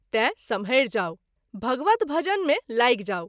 तैँ सम्हैर जाऊ ! भगवत भजन मे लागि जाऊ।